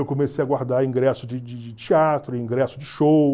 Eu comecei a guardar ingresso de de de de teatro, ingresso de show,